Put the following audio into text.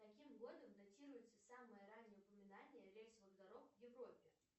каким годом датируется самое раннее упоминание рельсовых дорог в европе